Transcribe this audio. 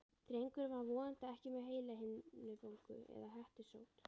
Drengurinn var vonandi ekki með heilahimnubólgu, eða hettusótt.